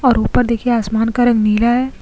और ऊपर देखिए आसमान का रंग नीला है।